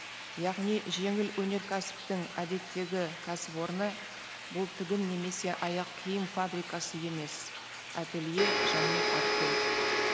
яғни жеңіл өнеркәсіптің әдеттегі кәсіпорны бұл тігін немесе аяқ киім фабрикасы емес ателье және артель